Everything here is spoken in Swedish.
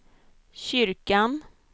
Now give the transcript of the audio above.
kyrkan